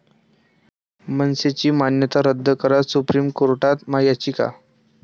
मनसे'ची मान्यता रद्द करा, सुप्रीम कोर्टात याचिका